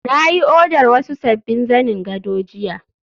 na yi odar wasu sabbin zanen gado jiya